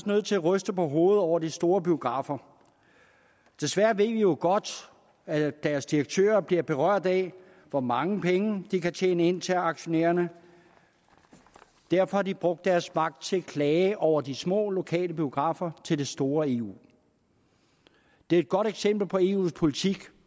nødt til at ryste på hovedet over de store biografer desværre ved vi jo godt at deres direktører bliver berørt af hvor mange penge de kan tjene ind til aktionærerne og derfor har de brugt deres magt til at klage over de små lokale biografer til det store eu det er et godt eksempel på eus politik